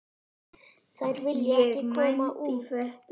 Þeir vilja ekki koma út.